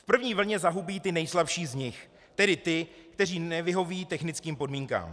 V první vlně zahubí ty nejslabší z nich, tedy ty, kteří nevyhoví technickým podmínkám.